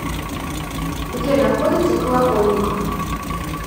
где находится колокольниковъ